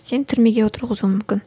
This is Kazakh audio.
сені түрмеге отырғызуы мүмкін